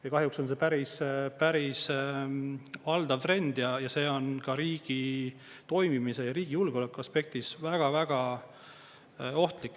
Ja kahjuks on see päris valdav trend ja see on ka riigi toimimise ja riigi julgeoleku aspektist väga ohtlik.